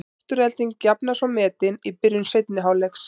Afturelding jafnar svo metin í byrjun seinni hálfleiks.